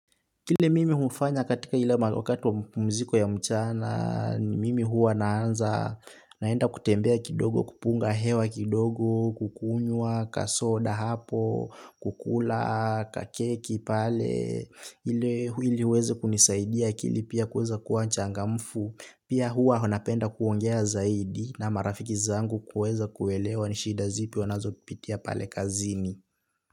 Kile mimi hufanya katika ile wakati wa mziko ya mchana ni mimi huwa naanza naenda kutembea kidogo kupunga hewa kidogo, kukunywa, kasoda hapo, kukula, kakeki pale, ili uweze kunisaidia akili pia kuweza kuwa changamfu, pia huwa napenda kuongea zaidi na marafiki zangu kuweza kuelewa ni shida zipi wanazo pitia pale kazini.